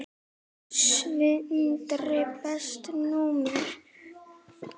Sindri Besta númer?